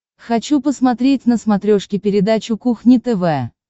хочу посмотреть на смотрешке передачу кухня тв